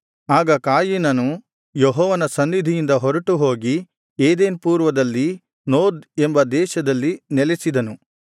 ಆಗ ಕಾಯಿನನು ಯೆಹೋವನ ಸನ್ನಿಧಿಯಿಂದ ಹೊರಟು ಹೋಗಿ ಏದೆನ್ ಪೂರ್ವದಲ್ಲಿದ್ದ ನೋದ್ ಎಂಬ ದೇಶದಲ್ಲಿ ನೆಲೆಸಿದನು